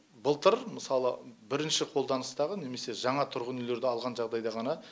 былтыр мысалы брінші қолданыстағы немесе жаңа тұрғын үйлерді алған жағдайда ғана